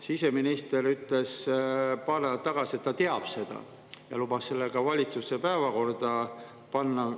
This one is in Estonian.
Siseminister ütles paar nädalat tagasi, et ta teab seda, ja lubas selle ka valitsuse päevakorda panna.